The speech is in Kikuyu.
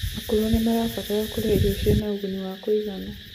akũrũ nimarabatara kurĩa irio ciĩna ũguni wa kuuigana